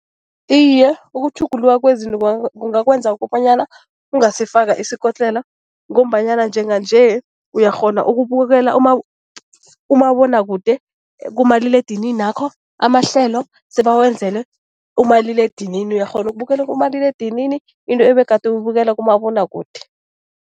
Iye, ukutjhuguluka kwezinto kungakwenza ukobanyana ungasifaka isikotlelo ngombanyana njenganje uyakghona ukubukela umabonwakude kumaliledininakho. Amahlelo sebawenzele umaliledinini, uyakghona ukubukela kumaliledinini into ebegade uyibukela kumabonwakude.